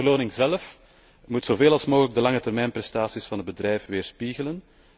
De beloning zelf moet zo veel mogelijk de langetermijnprestaties van het bedrijf weerspiegelen.